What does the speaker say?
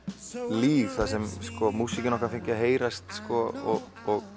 líf þar sem músíkin okkar fengi að heyrast og